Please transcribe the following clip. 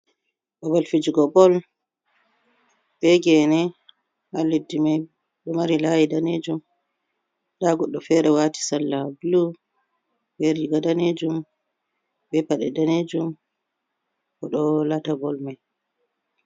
Babal fijugo bol, bee Geene haa leddi may, ɗo mari laayi daneejum, nda goɗɗo feere waati salla bulu be riiga daneejum bee paɗe daneejum o ɗo lata bol may.